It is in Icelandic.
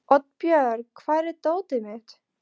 Oddbjörg, hvar er dótið mitt?